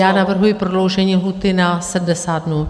Já navrhuji prodloužení lhůty na 70 dnů.